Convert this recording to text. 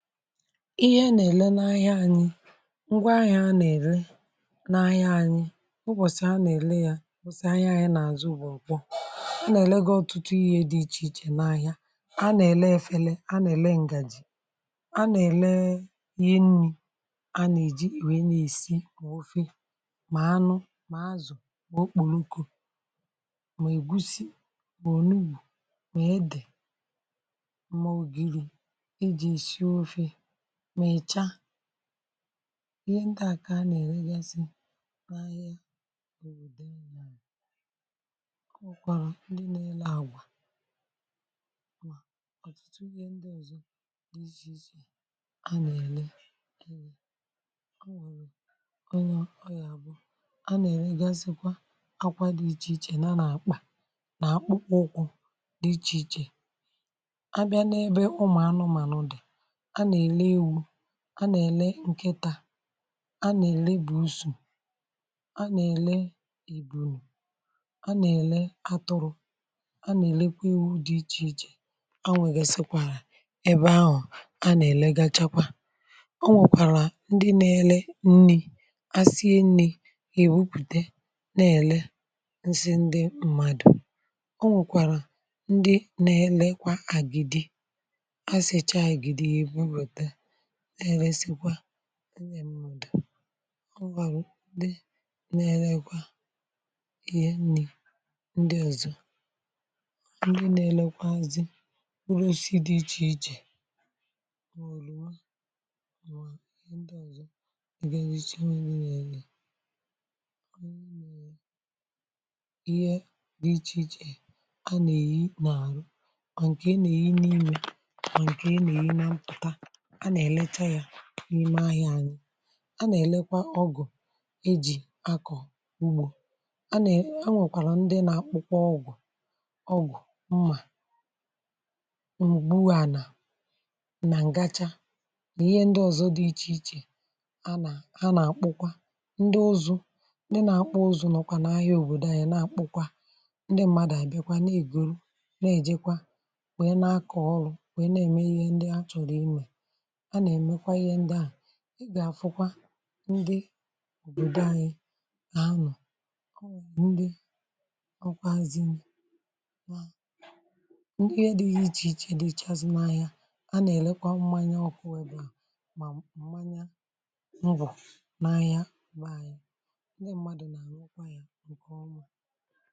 Ịhe nà-èle n’ahịa ànyị, ngwa ahịa nà-èle n’ahịa ànyị, o nwàsì anà-èle ya nà-àzụ gbùrùgburù. anà-èle gị ọtụtụ ihe dị ichè ichè n’ahịa, anà-èle efere, anà-èle ǹgàjì, anà-èle ihe nni̇, anà-èle ihe nà-èsi n’ofe, mà anụ, mà azụ̀, mà okpùrùko, mà ègusi bùrùnùyù, mà edè, ma ọgịrị ejị esị ọfe, ma ịcha, ihe ndị à kà a nà-èregasi n’ahịa òbòdò a ọ nwọrọ ndi nà-elu àgwà ọ̀tụtụ ihe ndị ozọ dị ichè ichè, a nà-èregasikwa akwa dị ichè ichè, nà a nà-akpà nà akpụkpọ ụkwụ dị ichè ichè, a nà-èle ǹkẹ̀tà, a nà-èle bụ̀ usù, a nà-èle ìgbòro, a nà-èle atụrụ̇, a nà-èlekwa iwu̇ dị ichè ichè, anwẹ̀gèsikwàrà ebe ahụ̀ a nà-èle gachakwa. o nwèkwàrà ndị nȧ-ėlė nni̇, a sie nni̇ èwupùte nà-èle ǹsị ndị mmadụ̀, o nwèkwàrà ndị nȧ-ėlėkwà àgịdi̇, ha sèchàà agịdị ha ebụbata e nee lesịchakwa ndi mmụ̀dị̀. ọ ghàrụ̀ ndị nȧ-erekwà ihe nni̇ ndị ọ̀zọ, ndị nȧ-elekwazị nrọ̀ osisi dị ichè ichè, mẁoròwa, mwà ndị ọ̀zọ ị̀ gà-enyeisi nwe nri nà elu̇ ihe dị ichè ichè a nà-eyi mà àrụ̀, Ọ̀ nkè a nà-eyi nà imè, ọ̀ nkè a nà-eyi nà mpụ̀ta, a na-elecha ya n’ime ahịȧ anyị. a na-elekwa ọgụ̀ eji akọ ugbo a na-enwekwàrà ndị na-akpụkwa ọgụ̀ ọgụ̀, mmȧ mughuanà nà ǹgachaa, ihe ndị ọzọ dị ichè ichè a nà ha nà-akpụkwa. ndị ozu, ndị na-akpụ ọzụ̀ nọkwà n’ahịa òbòdò anyị na-akpụkwa, ndị mmadụ̀ àyịbịakwa na-egoro na-ejekwa wee na-akọ ọrụ̀, wee na-eme ihe ndị a chọrọ imè, a nà-èmekwa ihe ndị ahụ̀. ị gà-àfụkwa ndị òbòdò anyị nà anọ̇ ọwụ̀ ndị ọkwazinà mà ndị dịghị ichè ichè dị ichazị n’ahịa a nà-èlekwa mmȧnyȧ ọkụ, wèe bụ̀ mà mmȧnya mbọ̀, n’ahịa màà yà ndị mmadụ̀ nà-àhụkwa yȧ ǹkè ọma.